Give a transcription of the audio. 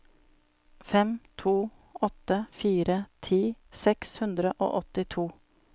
fem to åtte fire ti seks hundre og åttito